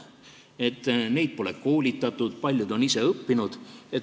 Eksperte pole koolitatud, paljud on ise õppinud.